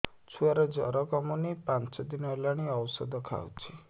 ଛୁଆ ଜର କମୁନି ପାଞ୍ଚ ଦିନ ହେଲାଣି ଔଷଧ ଖାଉଛି